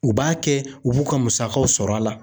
U b'a kɛ u b'u ka musakaw sɔrɔ a la